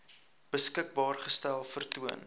beskikbaar gestel vertoon